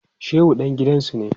Shehu dan gidansu ne.